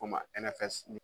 K'o ma